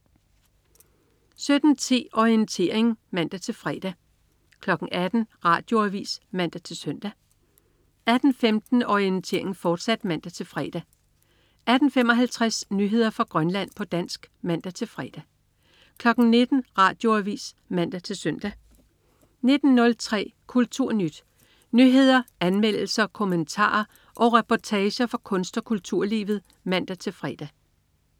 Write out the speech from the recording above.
17.10 Orientering (man-fre) 18.00 Radioavis (man-søn) 18.15 Orientering, fortsat (man-fre) 18.55 Nyheder fra Grønland, på dansk (man-fre) 19.00 Radioavis (man-søn) 19.03 KulturNyt. Nyheder, anmeldelser, kommentarer og reportager fra kunst- og kulturlivet (man-fre)